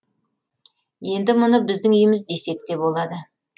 енді мұны біздің үйіміз десек те болады